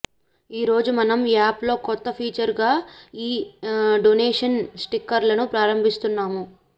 ఈ రోజు మనం యాప్ లో కొత్త ఫీచరుగా ఈ డొనేషన్ స్టిక్కర్లను ప్రారంభిస్తున్నాము